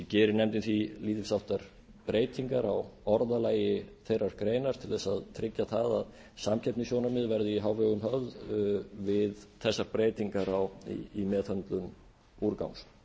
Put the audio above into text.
gerir nefndin því lítils háttar breytingar á orðalagi þeirrar greinar til þess að tryggja að samkeppnissjónarmið verði í hávegum höfð við þessar breytingar í meðhöndlun úrgangs